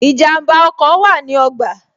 Ìjànbá ọkọ̀ wa ní ogba